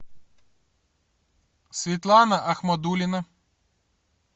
светлана ахмадулина